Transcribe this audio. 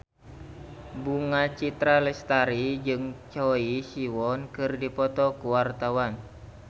Bunga Citra Lestari jeung Choi Siwon keur dipoto ku wartawan